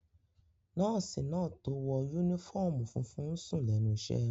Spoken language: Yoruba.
Nọ́ọ̀sì náà tó wọ yúnífọ́ọ̀mù funfun n sùn lẹ́nu iṣẹ́